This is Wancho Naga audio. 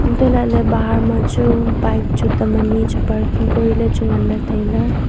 untoh lah ley bahar ma chu bike chu tam anye chu parking kori ley chu ngan ley tai ley.